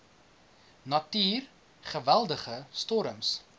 natuur geweldige storms